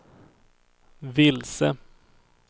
vilse